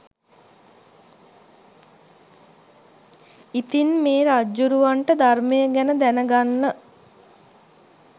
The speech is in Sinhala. ඉතින් මේ රජ්ජුරුවන්ට ධර්මය ගැන දැනගන්න